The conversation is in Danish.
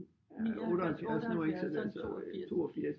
79 78 så er han 82